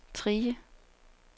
Trige